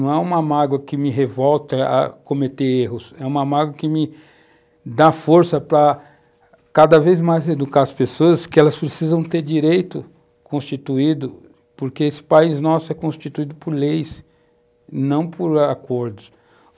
Não é uma mágoa que me revolta a cometer erros, é uma mágoa que me dá força para cada vez mais educar as pessoas que elas precisam ter direito constituído, porque esse país nosso é constituído por leis, não por acordos.